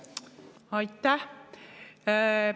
Aitäh!